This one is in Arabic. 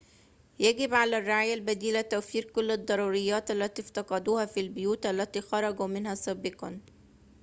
يجب على الرعاية البديلة توفير كل الضروريّات التي افتقدوها في البيوت التي خرجوا منها سابقاً